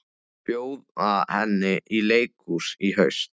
Bjóða henni í leikhús í haust.